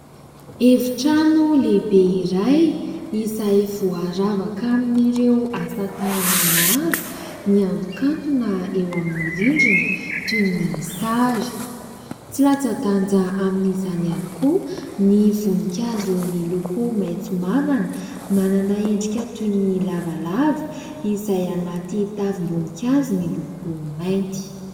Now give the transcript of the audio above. Efitrano lehibe iray izay voaravaka amin'ireo asa tanana maro miantokantona eo amin'ny rindrina toy ny sary. Tsy latsa-danja amin'izany ihany koa ny voninkazo miloko maitso mavana. Manana endrika toy ny lavalava izay anaty tavim-boninkazo miloko mainty.